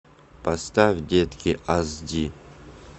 поставь детки ас ди